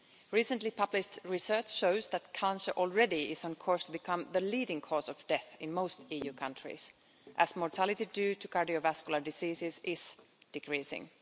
Recently published research shows that cancer is already on course to become the leading cause of death in most EU countries, as mortality due to cardiovascular diseases is decreasing.